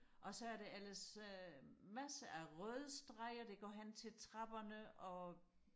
og så er der ellers øh massere af røde streger der går hen til trapperne og